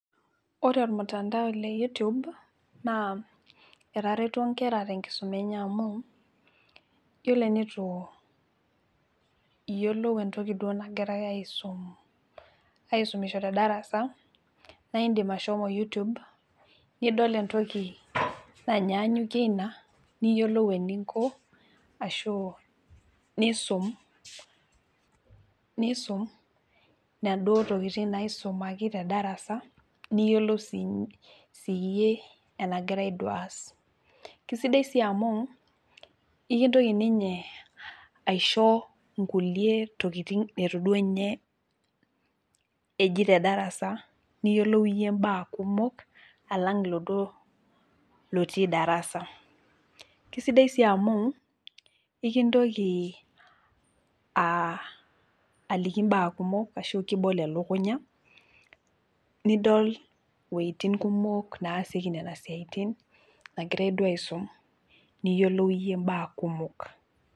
Ore ormutandao leyoutube naa etareto nkera tenkisuma enye amu yiolo enitu iyiolou entoki duo nagirae aisum , aisumisho tedarasa naa indim ashomo youtube , nidol entoki nanyanyukie ina, niyiolou eninko ashu nisum , nisum inaduo tokitin naisumaki tedarasa , niyiolou si siyie enagirae duo aas . Kisidai sii amu ekintoki ninye aisho nkulie tokitin neitu duo ninye eji tedarasa niyiolou iyie imbaa kumok alang iladuo lotii darasa. Kisidai sii amu ikintoki aa aliki mbaa kumok ashu kibol elukunya nidol iwuetin kumok naasieki nena siatin nagirae duo aisum , niyiolou iyie imbaa kumok.